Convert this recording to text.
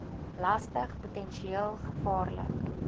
lastig potensieel gevaarlik